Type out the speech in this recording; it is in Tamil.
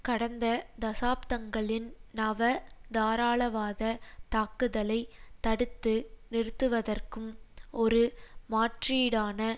கடந்த தசாப்தங்களின் நவ தாராளவாத தாக்குதலை தடுத்து நிறுத்துவதற்கும் ஒரு மாற்றீடான